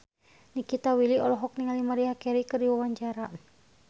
Nikita Willy olohok ningali Maria Carey keur diwawancara